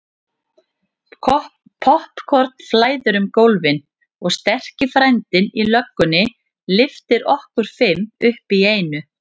Poppkorn flæðir um gólfin og sterki frændinn í löggunni lyftir okkur fimm upp í einu.